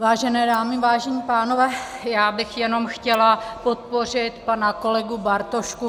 Vážené dámy, vážení pánové, já bych jenom chtěla podpořit pana kolegu Bartoška.